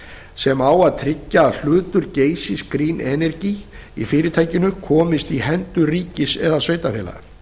sem á að tryggja að hlutur geysis green energy í fyrirtækinu komist í hendur ríkis eða sveitarfélaga